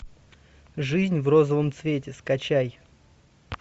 жизнь в розовом цвете скачай